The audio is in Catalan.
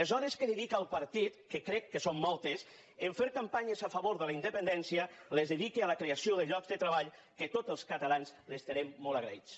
les hores que dedica al partit que crec que són moltes a fer campanyes a favor de la independència dediqui les a la creació de llocs de treball que tots els catalans li n’estarem molt agraïts